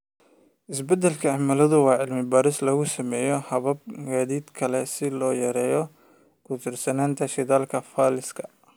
Isbeddelka cimiladu waa cilmi baaris lagu sameeyo habab gaadiid oo kale si loo yareeyo ku tiirsanaanta shidaalka fosilka.